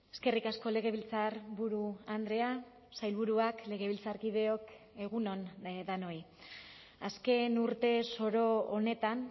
eskerrik asko legebiltzarburu andrea sailburuak legebiltzarkideok egun on denoi azken urte zoro honetan